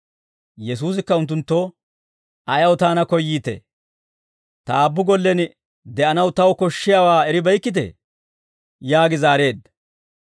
Yesuusikka unttunttoo, «Ayaw taana koyyiitee? Ta aabbu gollen de'anaw taw koshshiyaawaa eribeykkitee?» yaagi zaareedda.